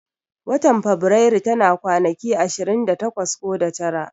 Watan faberaru tana kwanaki ashirin da takwas ko da tara